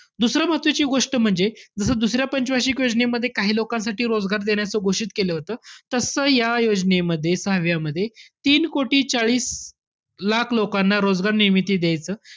दुसरं महत्वाची गोष्ट म्हणजे जसं दुसऱ्या पंच वार्षिक योजनेमध्ये काही लोकांसाठी रोजगार देण्याचं घोषित केलं होतं. तसं या योजनेमध्ये सहाव्यामध्ये तीन कोटी चाळीस लाख लोकांना रोजगार निर्मिती द्यायचं,